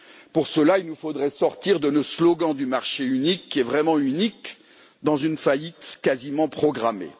Pour cela, il nous faudrait sortir de nos slogans du marché unique, qui est vraiment unique dans une faillite quasiment programmée.